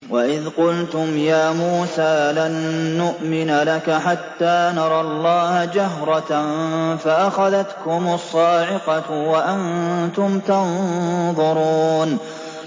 وَإِذْ قُلْتُمْ يَا مُوسَىٰ لَن نُّؤْمِنَ لَكَ حَتَّىٰ نَرَى اللَّهَ جَهْرَةً فَأَخَذَتْكُمُ الصَّاعِقَةُ وَأَنتُمْ تَنظُرُونَ